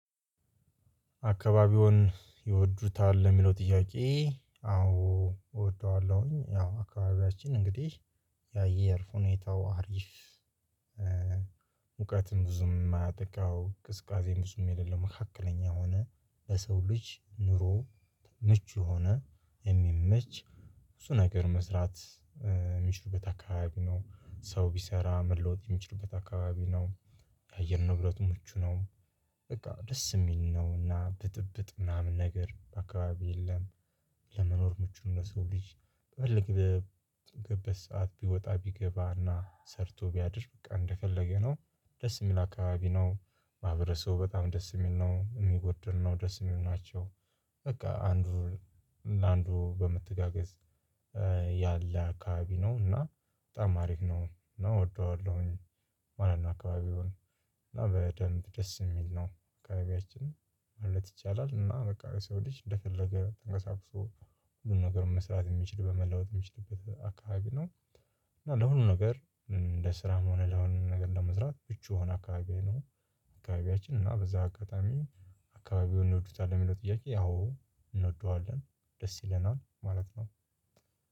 አካባቢዎን ይወዱታል ለሚለው ጥያቄ? አዎ እወደዋለሁኝ ያው አካባቢያችን እንግዲህ የአየር ሁኔታው አሪፍ። ሙቀትም ብዙም የማያጠቃው ቅዝቃዜን ብዙም የሌለ መካከለኛ ሆነ በሰው ልጅ ኑሮ ምቹ የሆነ የሚመች እሱ ነገር መስራት የሚችሉበት አካባቢ ነው ሰው ቢሰራ መለወጥ የሚችልበት አካባቢ ነው። አየር ንብረቱ ምቹ ነው በቃ ደስ የሚል ነው እና ብጥብጥ ምናምን ነገር አካባቢ የለም። ለመኖር ምቹ ነው ለሰው ልጅ ቢፈልግ በገበት ሰዓት ቢወጣ ቢገባና ሰርቶ ቢያድር በቃ እንደፈለገ ነው ደስ የሚል አካባቢ ነው። ማህበረሰቡ በጣም ደስ የሚል ነው የሚጎድል ነው ደስ የሚል ናቸው። በቃ አንዱ ለአንዱ በመተጋገዝ ያለ አካባቢ ነው እና በጣም አሪፍ ነው እና እወደዋለሁኝ ማለት ነው። አካባቢውን እና በደንብ ደስ የሚል ነው አካባቢያችን ማለት ይቻላል እና በቃ የሰው ልጅ እንደፈለገ ተንቀሳቅሶ ሁሉም ነገር መስራት የሚችል በመለወጥ የሚችልበት አካባቢ ነው። እና ለሁሉ ነገር እንደ ስራም ሆነ ለሁሉ ነገር ለመስራት ምቹ የሆነ አካባቢ ነው። አካባቢያችን እና በዚህ አጋጣሚ አካባቢውን እንወዱታለን የሚለው ጥያቄ? አዎ እንወደዋለን ደስ ይለናል ማለት ነው።